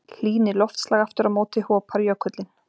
hlýni loftslag aftur á móti hopar jökullinn